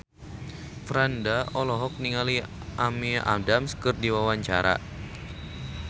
Franda olohok ningali Amy Adams keur diwawancara